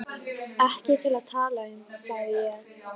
Ekki til að tala um, sagði ég.